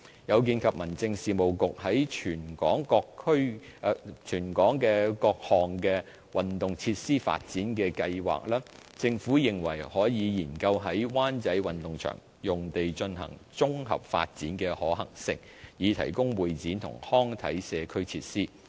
有見及民政事務局在全港各項運動設施發展的計劃，政府認為可研究在灣仔運動場用地進行綜合發展的可行性，以提供會展及康體社區設施。